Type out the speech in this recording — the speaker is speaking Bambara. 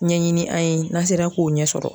Ɲɛɲini an ye n'an sera k'o ɲɛ sɔrɔ.